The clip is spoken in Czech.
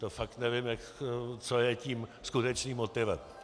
To fakt nevím, co je tím skutečným motivem.